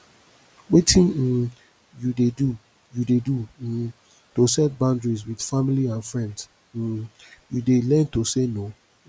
wetin um you dey do you dey do um to set boundaries with family and friends um you dey learn to say no